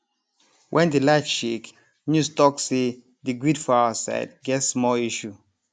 wen di light shake news talk say di grid for our side get small issue